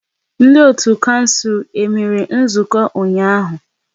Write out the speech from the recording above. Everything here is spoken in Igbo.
Ndị otu kouncil e mere nzukọ ụnyaahụ?